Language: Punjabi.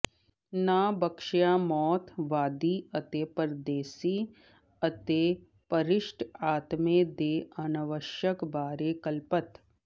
ਨਾ ਬਖਸ਼ਿਆ ਮੌਤ ਵਾਦੀ ਅਤੇ ਪਰਦੇਸੀ ਅਤੇ ਭਰਿਸ਼ਟ ਆਤਮੇ ਦੇ ਅਨਾਵਸ਼ਿਅਕ ਬਾਰੇ ਕਲਪਤ